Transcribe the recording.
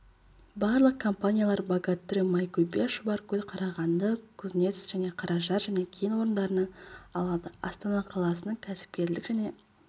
барлық компаниялар богатырь майкөбе шұбаркөл қарағанды кузнецк және қаражар кен орындарынан алады астана қаласының кәсіпкерлік және